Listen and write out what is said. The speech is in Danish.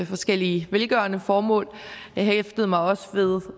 forskellige velgørende formål jeg hæftede mig også